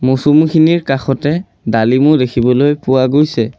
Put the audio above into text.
মৌচুমীখনিৰ কাষতে ডালিমো দেখিবলৈ পোৱা গৈছে।